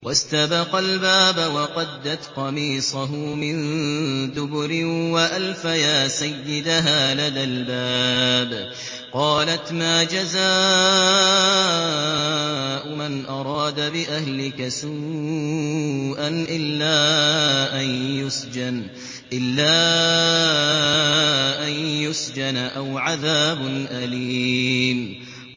وَاسْتَبَقَا الْبَابَ وَقَدَّتْ قَمِيصَهُ مِن دُبُرٍ وَأَلْفَيَا سَيِّدَهَا لَدَى الْبَابِ ۚ قَالَتْ مَا جَزَاءُ مَنْ أَرَادَ بِأَهْلِكَ سُوءًا إِلَّا أَن يُسْجَنَ أَوْ عَذَابٌ أَلِيمٌ